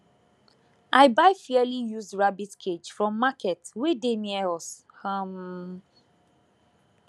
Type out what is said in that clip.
i buy fairly used rabbit cage from market wey near us um